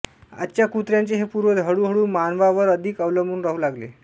आजच्या कुत्र्यांचे हे पूर्वज हळू हळू मानवावर अधिक अवलंबून राहू लागले